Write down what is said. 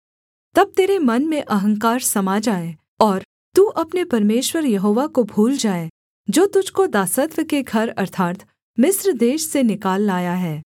तब तेरे मन में अहंकार समा जाए और तू अपने परमेश्वर यहोवा को भूल जाए जो तुझको दासत्व के घर अर्थात् मिस्र देश से निकाल लाया है